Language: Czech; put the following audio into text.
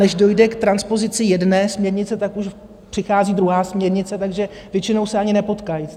Než dojde k transpozici jedné směrnice, tak už přichází druhá směrnice, takže většinou se ani nepotkají.